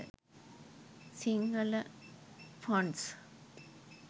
sinhala fonts